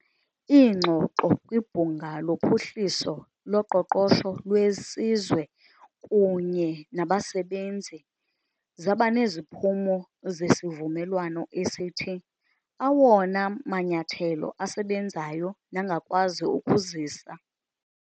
Iingxoxo kwibhunga lophuhliso loqoqosho lwesizwe kunye nabasebenzi zabaneziphumo zesivumelwano esithi, awona manyathelo asebenzayo nangakwazi ukuzisa